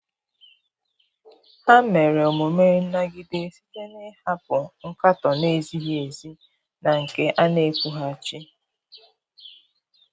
Ha mere omume nnagide site n'ịhapụ nkatọ na-ezighi ezi na nke a na-ekwughachi.